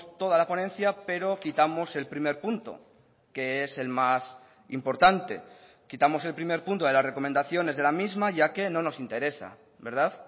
toda la ponencia pero quitamos el primer punto que es el más importante quitamos el primer punto de las recomendaciones de la misma ya que no nos interesa verdad